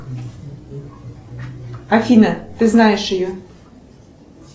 афина ты знаешь ее